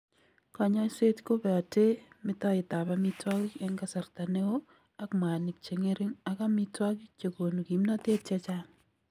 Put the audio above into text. Kanyoiset ko beote metoetab amitwogik eng' kasarta neo ak mwanik che ng'ering' ak amitwogik che konu kimnatet chechang'.